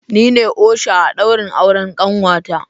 Nine osha a daurin auren kanwata.